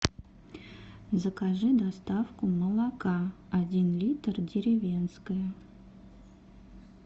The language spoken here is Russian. закажи доставку молока один литр деревенское